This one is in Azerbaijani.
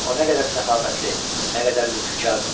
O nə qədər səxavətli, nə qədər lütfkardır!